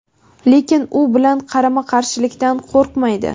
lekin u bilan qarama-qarshilikdan qo‘rqmaydi.